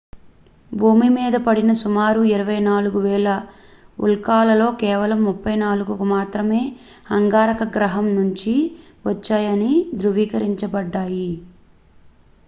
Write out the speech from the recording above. భూమి మీద పడిన సుమారు 24,000 ఉల్కలలో కేవలం 34కు మాత్రమే అంగారక గ్రహం నుంచి వచ్చాయని ధృవీకరించబడ్డాయి